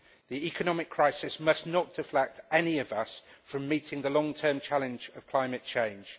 The economic crisis must not deflect any of us from meeting the long term challenge of climate change.